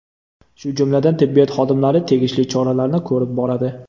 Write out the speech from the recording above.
Shu jumladan tibbiyot xodimlari tegishli choralarni ko‘rib boradi.